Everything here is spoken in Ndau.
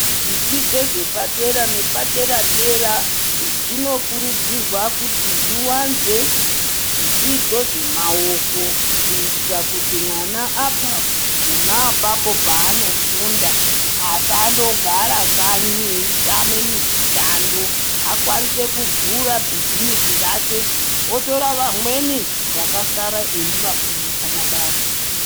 Zvidzidzo zvepadera nepadera-dera zvino kurudzirwa kuti zviwanze zvidzidzo zvemaoko kuitira kuti mwana abva pona apapo pavanofunda, asangogara kanyi eitama mishando. Akwanise kuvhura bhizimusi rake otora vamweni vakasara eiva fundisa mabasa.